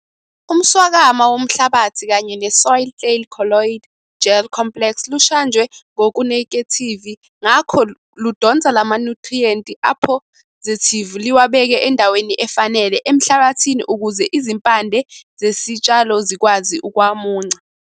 Umswakama womhlabathi kanye nesoil clay colloid gel complex lushajwe ngokunekethivi ngakho ludonsa lamanyuthriyenti aphosithivi liwabeke endaweni efanele emhlabathini ukuze izimpande zesitshalo zikwazi ukuwamunca.